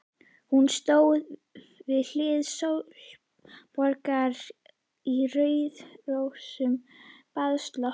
Hún stóð við hlið Sólborgar í rauðrósóttum baðslopp.